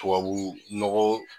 Tubabu nɔgɔ